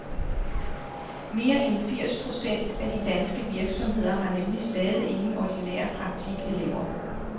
Mere end firs procent af de danske virksomheder har nemlig stadig ingen ordinære praktikelever.